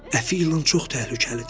Əfi ilan çox təhlükəlidir.